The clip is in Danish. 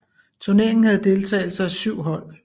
Turneringen havde deltagelse af 7 hold